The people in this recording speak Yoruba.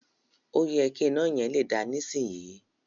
Òyẹ ki ina yẹn le da nisisiyi.